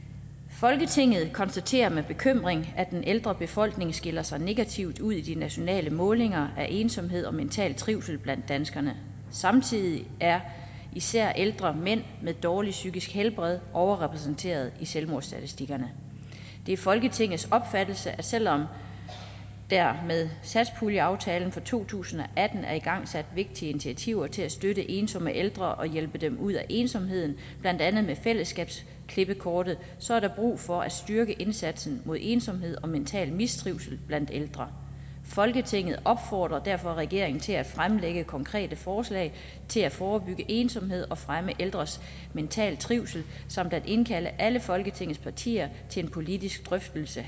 folketinget konstaterer med bekymring at den ældre befolkning skiller sig negativt ud i de nationale målinger af ensomhed og mental trivsel blandt danskerne samtidig er især ældre mænd med dårligt psykisk helbred overrepræsenteret i selvmordsstatistikkerne det er folketingets opfattelse at selv om der med satspuljeaftalen for to tusind og atten er igangsat vigtige initiativer til at støtte ensomme ældre og hjælpe dem ud af ensomheden blandt andet med fællesskabsklippekortet så er der brug for at styrke indsatsen mod ensomhed og mental mistrivsel blandt ældre folketinget opfordrer derfor regeringen til at fremlægge konkrete forslag til at forebygge ensomhed og fremme ældres mentale trivsel samt at indkalde alle folketingets partier til en politisk drøftelse